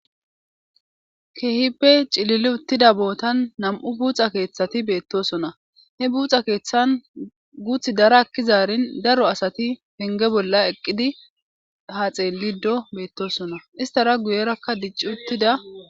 Keehippe cilili uttida bootan nam'u buuxa keeththati beettosona hebuuxa keeththan guuth dara akkizaarin daro asati penge bolla eqqidi haxeelido beettosona istara guyerakka dicci uttida.